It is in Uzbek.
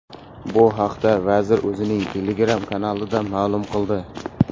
Bu haqda vazir o‘zining Telegram kanalida ma’lum qildi .